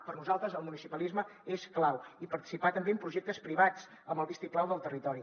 per a nosaltres el municipalisme és clau i participar també en projectes privats amb el vistiplau del territori